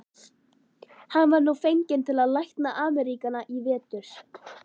Hann var nú fenginn til að lækna Ameríkana í vetur.